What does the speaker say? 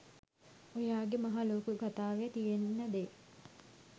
ඔයා ගෙ මහ ලොකු කතාවෙ තියෙන දේ